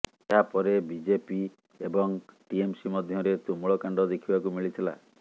ଏହାପରେ ବିଜେପି ଏବଂ ଟିଏମ୍ସି ମଧ୍ୟରେ ତୁମୂଳ କାଣ୍ଡ ଦେଖିବାକୁ ମିଳିଥିଲା